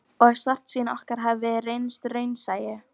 Og svartsýni okkar hafði reynst vera raunsæi.